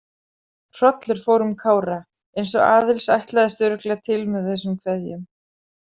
Hrollur fór um Kára, eins og Aðils ætlaðist örugglega til með þessum kveðjum.